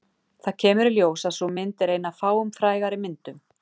Það kemur í ljós að sú mynd er ein af fáum frægari myndum